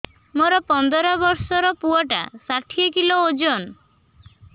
ମୋର ପନ୍ଦର ଵର୍ଷର ପୁଅ ଟା ଷାଠିଏ କିଲୋ ଅଜନ